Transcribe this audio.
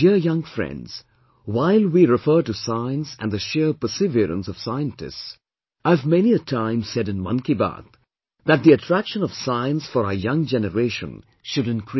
My dear young friends, while we refer to Science and the sheer perseverance of scientists, I have many a time said in 'Mann Ki Baat', that the attraction of Science for our young generation should increase